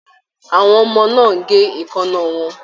Àwọn ọmọ náà n gé eekanna wọn